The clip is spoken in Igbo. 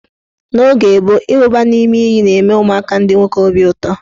N' oge gboo, ịwụba n' ime iyi na-enye ụmụaka ndị nwoke obi ụtọ.